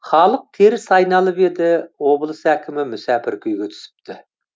халық теріс айналып еді облыс әкімі мүсәпір күйге түсіпті